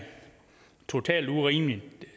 totalt urimeligt